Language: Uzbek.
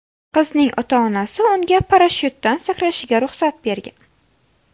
Qizning ota-onasi unga parashyutdan sakrashiga ruxsat bergan.